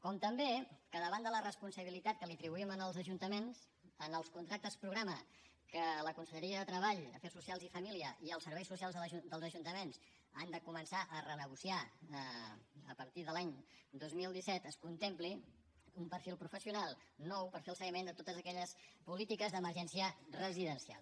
com també que davant de la responsabilitat que li atribuïm als ajuntaments en els contractes programa que la conselleria de treball afers socials i famílies i els serveis socials dels ajuntaments han de començar a renegociar a partir de l’any dos mil disset es contempli un perfil professional nou per fer el seguiment de totes aquelles polítiques d’emergència residencial